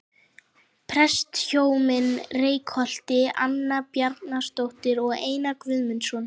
Prestshjónin í Reykholti- Anna Bjarnadóttir og Einar Guðnason.